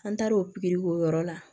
An taar'o pikiri o yɔrɔ la